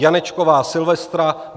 Janečková Silvestra